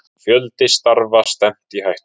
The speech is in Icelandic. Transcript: Fjölda starfa stefnt í hættu